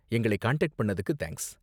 எங்களை காண்டாக்ட் பண்ணுனதுக்கு தேங்க்ஸ்.